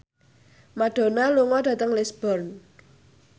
Madonna lunga dhateng Lisburn